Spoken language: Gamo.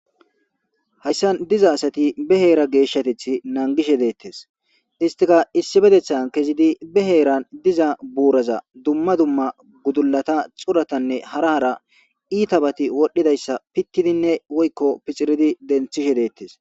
Hayssa diza asati be heera geeshshateth nangishe deettes istika issi bedethan kezidi be heeran diza buuraza dumma dumma gudulata xuratanne hara hara iita bati wodhdhidayssa pittidinne woykko piciridi denthishe deettes.